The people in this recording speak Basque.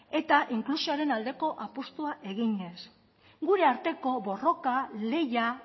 eta inklusioaren aldeko apustua eginez gure arteko borroka lehia